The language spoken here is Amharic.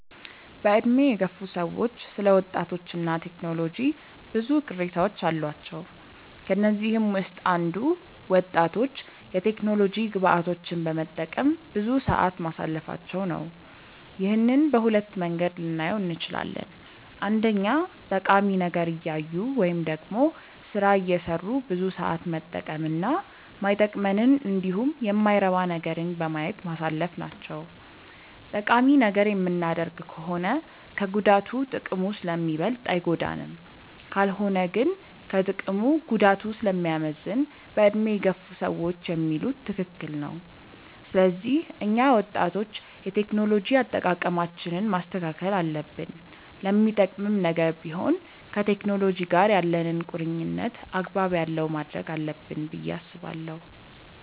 በዕድሜ የገፉ ሰዎች ስለ ወጣቶች እና ቴክኖሎጂ ብዙ ቅሬታዎች አሏቸው። ከነዚህም ውስጥ አንዱ ወጣቶች የቴክኖሎጂ ግብአቶችን በመጠቀም ብዙ ሰዓት ማሳለፋቸው ነው። ይህንን በሁለት መንገድ ልናየው እንችላለን። አንደኛ ጠቃሚ ነገር እያዩ ወይም ደግሞ ስራ እየሰሩ ብዙ ሰዓት መጠቀም እና ማይጠቅመንንን እንዲሁም የማይረባ ነገርን በማየት ማሳለፍ ናቸው። ጠቃሚ ነገር የምናደርግ ከሆነ ከጉዳቱ ጥቅሙ ስለሚበልጥ አይጎዳንም። ካልሆነ ግን ከጥቅሙ ጉዳቱ ስለሚያመዝን በዕድሜ የገፉ ሰዎች የሚሉት ትክክል ነው። ስለዚህ እኛ ወጣቶች የቴክኖሎጂ አጠቃቀማችንን ማስተካከል አለብን። ለሚጠቅምም ነገር ቢሆን ከቴክኖሎጂ ጋር ያለንን ቁርኝነት አግባብ ያለው ማድረግ አለብን ብዬ አስባለሁ።